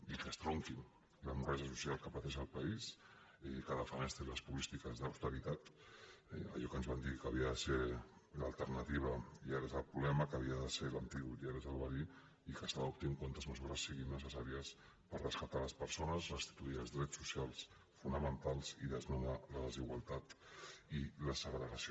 i que estronquin l’hemorràgia social que pateix el país que defenestrin les polítiques d’austeritat allò que ens van dir que havia de ser l’alternativa i ara és el problema que havia de ser l’antídot i ara és el verí i que s’adop·tin totes les mesures que siguin necessàries per resca·tar les persones restituir els drets socials fonamentals i desnonar la desigualtat i la segregació